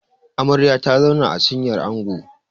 Amarya ta zauna a cinyar Ango